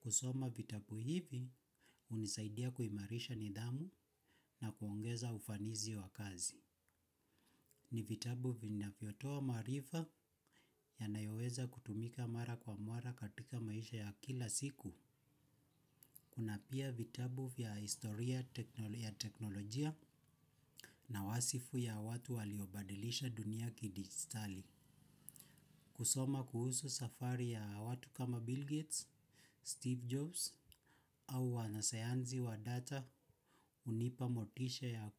Kusoma vitabu hivi hunisaidia kuimarisha nidhamu na kuongeza ufanisi wa kazi. Ni vitabu vinavyotoa maarifa, yanayoweza kutumika mara kwa mara katika maisha ya kila siku. Kuna pia vitabu vya historia ya teknolojia na wasifu ya watu waliobadilisha dunia kidigitali. Kusoma kuhusu safari ya watu kama Bill Gates, Steve Jobs au wanasayansi wa data hunipa motisha ya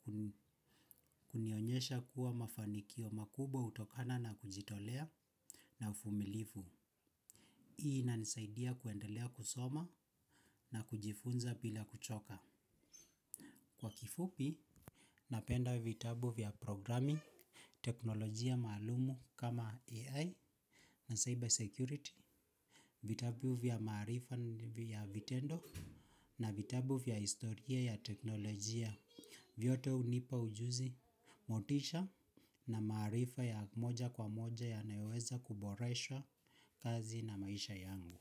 kunionyesha kuwa mafanikio makubwa hutokana na kujitolea na uvumilivu. Hii inanisaidia kuendelea kusoma na kujifunza bila kuchoka. Kwa kifupi, napenda vitabu vya 'programing', teknolojia maalum kama AI na 'cyber security', vitabu vya maarifa vya vitendo na vitabu vya historia ya teknolojia. Vyote hunipa ujuzi, motisha na maarifa ya moja kwa moja yanayoweza kuboresha kazi na maisha yangu.